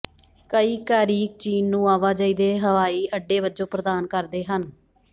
ਕਈ ਕੈਰੀਕ ਚੀਨ ਨੂੰ ਆਵਾਜਾਈ ਦੇ ਹਵਾਈ ਅੱਡੇ ਵਜੋਂ ਪ੍ਰਦਾਨ ਕਰਦੇ ਹਨ